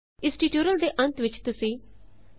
ਇਸ ਟਿਊਟੋਰੀਅਲ ਦੇ ਅੰਤ ਵਿੱਚ ਤੁਸੀਂ 1